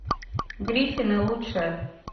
гриффины лучшее